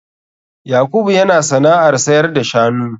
Yakubu yana sana'ar sayar da shanu.